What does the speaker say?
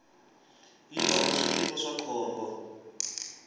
yi orha switiko swa khombo